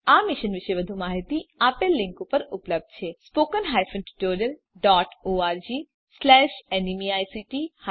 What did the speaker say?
આ મિશન પર વધુ માહીતી આપેલ લીંક પર ઉપલબ્ધ છે spoken hyphen tutorial dot org slash NMEICT hyphen intro